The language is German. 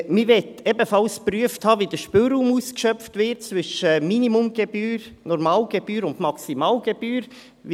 Man möchte ebenfalls geprüft haben, wie der Spielraum zwischen Minimalgebühr, Normalgebühr und Maximalgebühr ausgeschöpft wird: